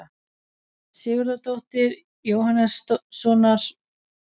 Sigurðardóttur, Jóhannssonar og Hansínu Jóhannsdóttur.